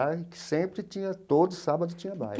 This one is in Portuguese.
E que sempre tinha, todo sábado tinha baile.